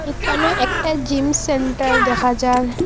একানেও একটা gym centre দেখা যার ।